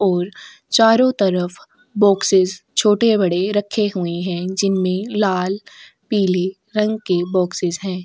ओर चारों तरफ बॉक्सेस छोटे-बड़े रखे हुएं हैं जिनमें लाल पीले रंग के बॉक्सेस हैं।